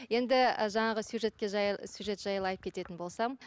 енді жаңағы сюжетке сюжет жайлы айтып кететін болсам